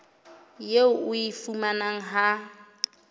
eo o e fumanang ha